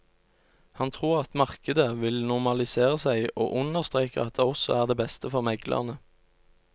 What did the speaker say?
Han tror at markedet vil normalisere seg og understreker at det også er det beste for meglerne.